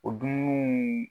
O dumunuw